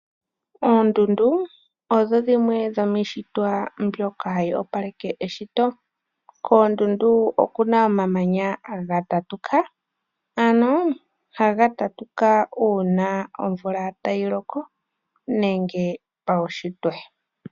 Oondundu odho dhimwe dhomiishitwa mbyoka hayi opaleke eshito. Koondundu oku na omamanya haga tatuka . Haga tatuka, uuna omvula tayi loko nenge pawushitwe.